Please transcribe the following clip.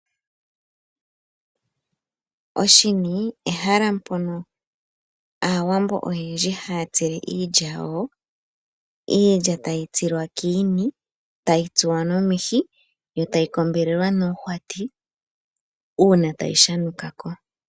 Oshini ehala mpono aawambo oyendji haya tsile iilya yawo, iilya tayi tsilwa kiini tayi tsuwa nomihi yo tayi kombelwalwa noohwati uuna tayi shanukako.